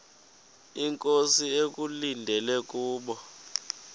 inkosi ekulindele kubo